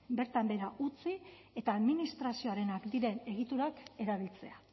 bertan behera utzi eta administrazioarenak diren egiturak erabiltzea